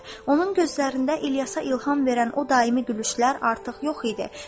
Onun gözlərində İlyasa ilham verən o daimi gülüşlər artıq yox idi.